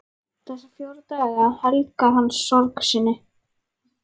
Þessa fjóra daga helgar hann sorg sinni.